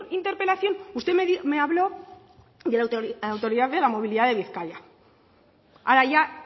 interpelación usted me habló de la autoridad de la movilidad de bizkaia ahora ya